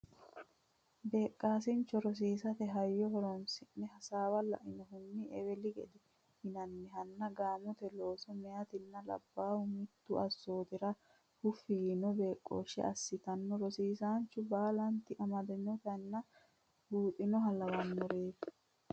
Beeqqisaancho rosiisate hayyo horonsi ne hasaawa lawinoha eweli gede yinannihanna gaamote looso meyaatinna labbaahu mittu assootira huffi yiino beeqqooshshe assitannoha rosiisaanchu baalanti amadantinota buuxannoha lawannoreeti.